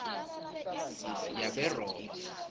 yaberoma